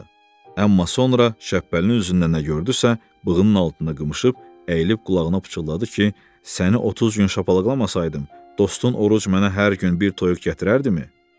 Amma sonra Şəppəlinin üzündə nə gördüsə, bığının altında qımışıb, əyilib qulağına pıçıldadı ki, səni 30 gün şapalaqlamasaydım, dostun oruc mənə hər gün bir toyuq gətirərdimi?